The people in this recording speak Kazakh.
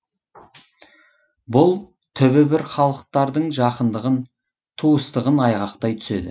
бұл түбі бір халықтырдың жақындығын туыстығын айғақтай түседі